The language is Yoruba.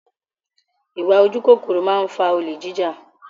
Ìwà ojú kòkòrò máa ń fa olè jija